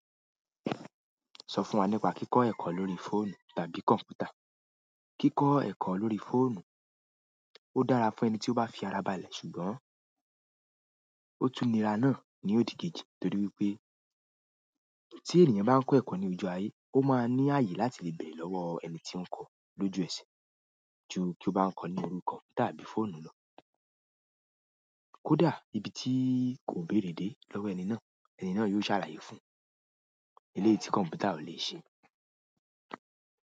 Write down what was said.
Sọ fún wa nípa kíkọ́ ẹ̀kọ́ lórí fóònù tàbí kọ̀mpútà. Kíkọ́ ẹ̀kọ́ lórí fóònù ó dára fún ẹni tí ó bá fi ara balẹ̀, ṣùgbọ́n ó tún nira náà ní òdì-kejì torí wípé tí ènìyàn bá ń kọ́ ẹ̀kọ́ ní ojú ayé, ó máa ní ààyè láti lè bèèrè lọ́wọ́ ẹni tí ń kọ́ọ lójú ẹsẹ̀. Ju kí ó bá ń kọ́ ní orí kọ̀mpútà tàbí fóònù lọ. Kódà ibi tí kò béèrè dé lọ́wọ́ ẹni náà, ẹni náà yóò ṣàlàyé fún-un. Eléyìí tí kọ̀mpútà ò lè ṣe.